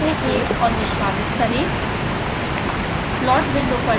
scilab code को save और निष्पादित करें